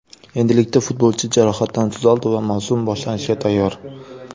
Endilikda futbolchi jarohatdan tuzaldi va mavsum boshlanishiga tayyor.